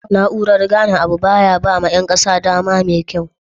na urar gane Abu baya bama Yan kasan dama mekyau